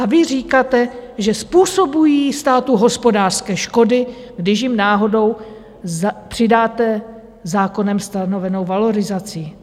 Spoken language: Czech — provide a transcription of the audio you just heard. A vy říkáte, že způsobují státu hospodářské škody, když jim náhodou přidáte zákonem stanovenou valorizaci.